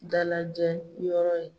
Dalajɛ yɔrɔ ye